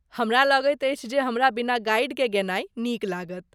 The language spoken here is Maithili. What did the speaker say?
हमरा लगैत अछि जे हमरा बिना गाइडकेँ गेनाइ नीक लागत।